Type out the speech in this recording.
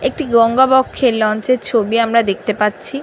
একটি গঙ্গাবক্ষে লঞ্চের ছবি আমরা দেখতে পাচ্ছি।